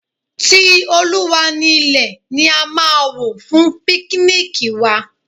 Ti Olúwa ni ilẹ̀ ni a máa wò fún píknìkì wa.